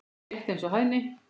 Rétt eins og hæðni.